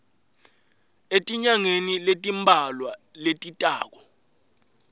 etinyangeni letimbalwa letitako